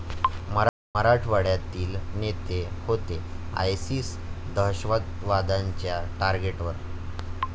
मराठवाड्यातील नेते होते आयसिस दहशतवाद्यांच्या टार्गेटवर?